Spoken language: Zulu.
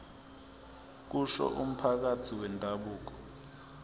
kusho umphathi wendabuko